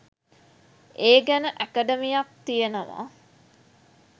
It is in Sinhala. ඒ ගැන ඇකඩමියක් තියෙනවා